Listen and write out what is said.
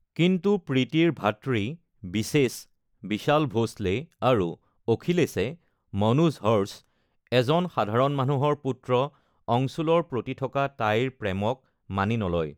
কিন্তু প্ৰীতিৰ ভাতৃ বিশেষ (বিশাল ভোঁসলে) আৰু অখিলেশে (মনোজ হৰ্ষ) এজন সাধাৰণ মানুহৰ পুত্ৰ অংশুলৰ প্ৰতি থকা তাইৰ প্ৰেমক মানি নলয়।